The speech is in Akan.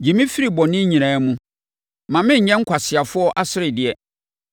Gye me firi me bɔne nyinaa mu; mma mennyɛ nkwaseafoɔ aseredeɛ.